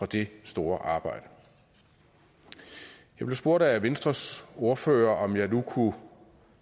det store arbejde jeg blev spurgt af venstres ordfører om jeg nu kunne